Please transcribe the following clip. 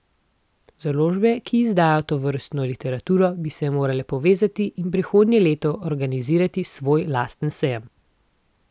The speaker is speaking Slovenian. Založbe, ki izdajajo tovrstno literaturo, bi se morale povezati in prihodnje leto organizirati svoj lasten sejem.